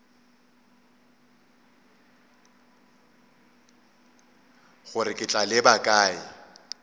gore ke tla leba kae